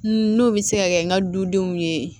N'o bɛ se ka kɛ n ka du denw ye